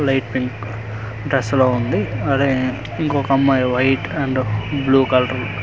light pink dress లో ఉంది అదే ఇంకో అమ్మాయి వైట్ అండ్ బ్లూ కలర్ --